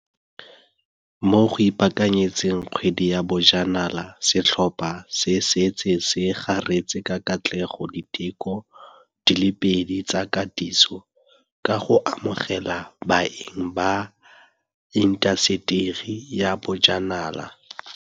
Mo go ipaakanyetseng Kgwedi ya Bojanala, setlhopha se setse se garetse ka katlego diteko di le pedi tsa katiso, ka go amogela baeng ba intaseteri ya bojanala.